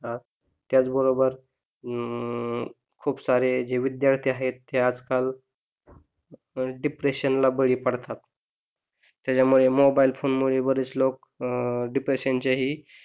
त्याच बरोबर, अं खूप सारे विद्यार्थी आहेत ना ते आजकाल डिप्रेशन ला बळी पडतात त्याच्या मळे मोबाइल फोन मुळे बरीच लोक डिप्रेशन चे ही,